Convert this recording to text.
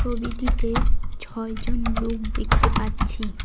ছবিটিতে ছয় জন লোক দেখতে পাচ্ছি।